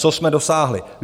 Co jsme dosáhli?